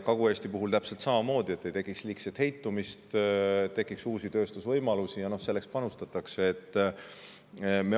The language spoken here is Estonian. Kagu-Eesti puhul on täpselt samamoodi, et ei tohiks tekkida liigset heitumist ja tekiks uusi tööstusvõimalusi, ja sellesse panustatakse.